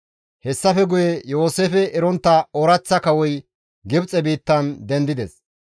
Hessafe guye Yooseefe erontta ooraththa kawoy Gibxe biittan dendides.